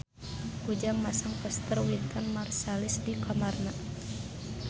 Ujang masang poster Wynton Marsalis di kamarna